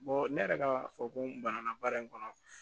ne yɛrɛ ka fɔ ko n banana baara in kɔnɔ